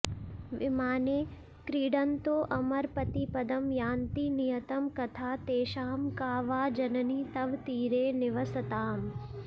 विमाने क्रीडन्तोऽमरपतिपदं यान्ति नियतं कथा तेषां का वा जननि तव तीरे निवसताम्